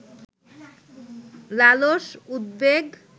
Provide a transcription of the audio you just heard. লালস উদ্বেগ